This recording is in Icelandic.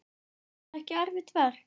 Var það erfitt verk?